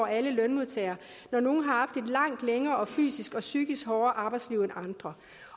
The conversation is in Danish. alle lønmodtagere når nogle har haft et langt længere og fysisk og psykisk hårdere arbejdsliv end andre